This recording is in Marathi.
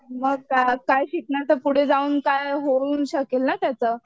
मग काय काय शिकणार तर पुढे जाऊन काय होऊही शकेल ना त्याचं.